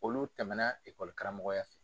Olu tɛmɛna karamɔgɔya fɛ.